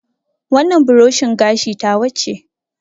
Wannan buroshin gashi ta wa ce